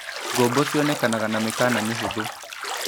Ngombo cionekanaga na mĩkana mĩhũthũ.